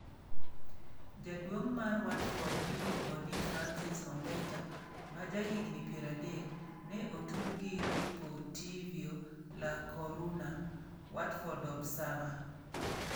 Jaduong' mar Watford miluongo ni Francis Ombeta, ma jahigini 30, ne otud gi Deportivio la Coruna (Watford Observer).